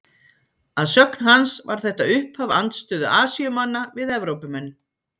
Að sögn hans var þetta upphaf andstöðu Asíumanna við Evrópumenn.